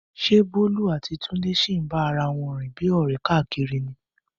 Ṣé Bólú àti Túndé sì ń bá ara wọn rìn bíi ọ̀rẹ́ káàkiri ní?